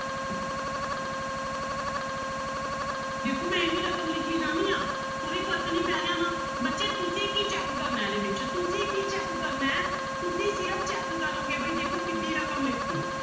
ਵੇਖੋ ਮੈਂ ਐਵੀਂ ਰਕਮ ਲਿਖੀ ਜਾਂਦੀ ਹਾਂ ਕੋਈ ਫ਼ਰਕ ਨੀ ਪੈ ਰਿਹਾ ਨਾ ਬੱਚੇ ਤੁਸੀਂ ਕੀ check ਕਰਨਾ ਹੈ ਇਹਦੇ ਵਿੱਚ ਤੁਸੀਂ ਕੀ check ਕਰਨਾ ਹੈ ਤੁਸੀਂ ਸਿਰਫ਼ check ਕਰੋਂਗੇ ਬਾਈ ਦੇਖੋ ਕਿੱਢੀ ਰਕਮ ਲਿਖ ਦਿੱਤੀ